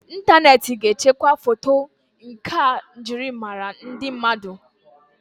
Ịntaneti ga echekwa foto nkà njirimara ndị mmadụ.